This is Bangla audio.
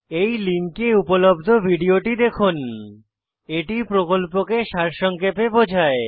এই লিঙ্কে উপলব্ধ ভিডিওটি দেখুন httpspoken tutorialorgWhat is a Spoken Tutorial এটি প্রকল্পকে সারসংক্ষেপে বোঝায়